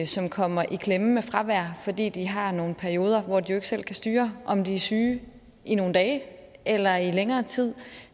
som kommer i klemme med fravær fordi de har nogle perioder hvor de ikke selv kan styre om de er syge i nogle dage eller i længere tid